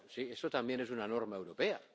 Eso también es una norma europea.